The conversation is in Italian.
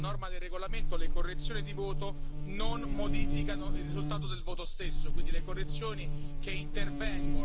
Le devo però purtroppo comunicare che, a norma del regolamento, le correzioni di voto non modificano il risultato del voto stesso.